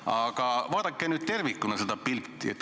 Aga vaadake nüüd tervikuna seda pilti.